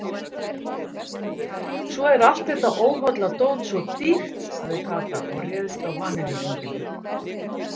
Svo er allt þetta óholla dót svo dýrt sagði Kata og réðst á vanilluhringina.